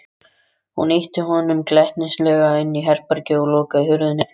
Hún ýtti honum glettnislega inn í herbergið og lokaði hurðinni.